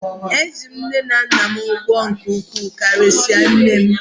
Eji m nne na nna m ụgwọ nke ukwuu karịsịa nne m.